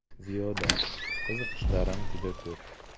Ziyoda: Qiziqishlarim juda ko‘p.